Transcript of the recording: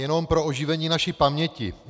Jenom pro oživení naší paměti.